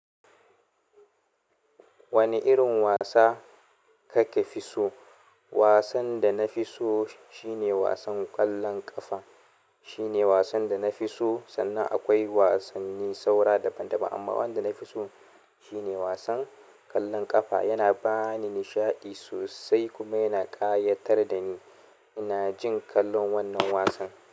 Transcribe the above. Wane irin wasa kake fi so? Wasan da na fi so shine wasan ƙwallon ƙafa. Shine wasan da na fi so, sannan akwai wasan ni saura daban-daban, amma wanda na fi so shine wasan ƙwallon ƙafa. Yana ba ni nishaɗi sosai kuma yana ƙayatar da ni. Ina jin kallon wannan wasan.